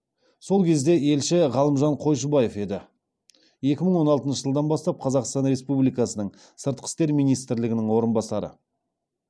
сол кезде елші ғалымжан қойшыбаев еді екі мың он алтыншы жылдан бастап қазақстан республикасының сыртқы істер министрлігінің орынбасары